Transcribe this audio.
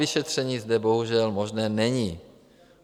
Samovyšetření zde bohužel možné není.